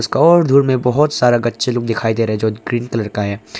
बहौत सारा गच्चे लोग दिखाई दे रहा है जो ग्रीन कलर का है।